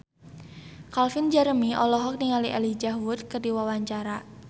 Calvin Jeremy olohok ningali Elijah Wood keur diwawancara